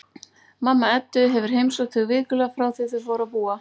Mamma Eddu hefur heimsótt þau vikulega frá því að þau fóru að búa saman.